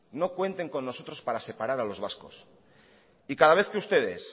no cuenten con nosotros para separar a los vascos y cada vez que ustedes